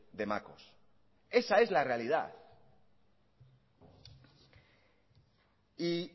de macos esa es la realidad y